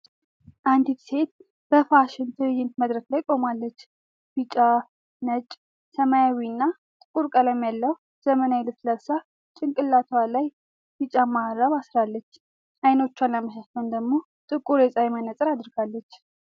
አንዲት ሴት በፋሽን ትርኢት መድረክ ላይ ቆማለች። ቢጫ፣ ነጭ፣ ሰማያዊና ጥቁር ቀለም ያለው ዘመናዊ ልብስ ለብሳ፤ ጭንቅላቷ ላይ ቢጫ መሃረብ አስራለች። ዓይኖቿን ለመሸፈን ደግሞ ጥቁር የፀሐይ መነጽር አድርጋለች።